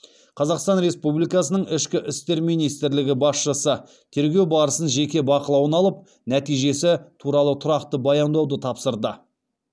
қазақстан республикасының ішкі істер министрлігі басшысы тергеу барысын жеке бақылауына алып нәтижесі туралы тұрақты баяндауды тапсырды